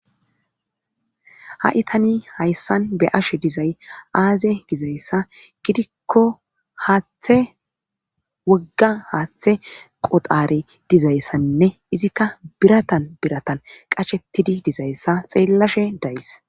ha7itani hayssan be ashe dizay aaze gizayssa gidikko haaththe wogga haaththe qodhari dizayssanne izikka biratan biratan qashettidi dizayssa xeellashe dayyis